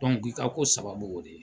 ku i ka ko sababu ye o de ye.